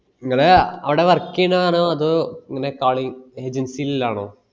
നിങ്ങളെ അവടെ work ചെയ്‌നെ ആണോ അതോ ഇങ്ങനെ calling agency ല് ഉള്ളയണോ